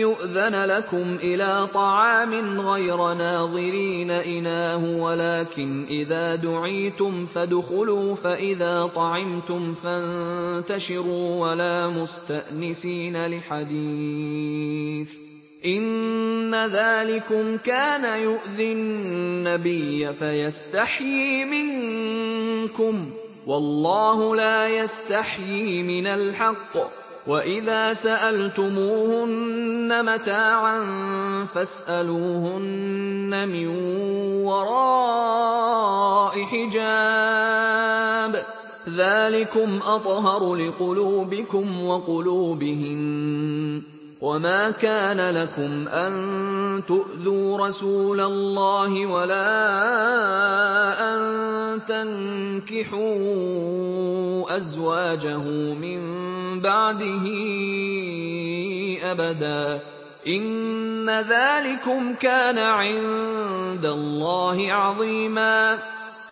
يُؤْذَنَ لَكُمْ إِلَىٰ طَعَامٍ غَيْرَ نَاظِرِينَ إِنَاهُ وَلَٰكِنْ إِذَا دُعِيتُمْ فَادْخُلُوا فَإِذَا طَعِمْتُمْ فَانتَشِرُوا وَلَا مُسْتَأْنِسِينَ لِحَدِيثٍ ۚ إِنَّ ذَٰلِكُمْ كَانَ يُؤْذِي النَّبِيَّ فَيَسْتَحْيِي مِنكُمْ ۖ وَاللَّهُ لَا يَسْتَحْيِي مِنَ الْحَقِّ ۚ وَإِذَا سَأَلْتُمُوهُنَّ مَتَاعًا فَاسْأَلُوهُنَّ مِن وَرَاءِ حِجَابٍ ۚ ذَٰلِكُمْ أَطْهَرُ لِقُلُوبِكُمْ وَقُلُوبِهِنَّ ۚ وَمَا كَانَ لَكُمْ أَن تُؤْذُوا رَسُولَ اللَّهِ وَلَا أَن تَنكِحُوا أَزْوَاجَهُ مِن بَعْدِهِ أَبَدًا ۚ إِنَّ ذَٰلِكُمْ كَانَ عِندَ اللَّهِ عَظِيمًا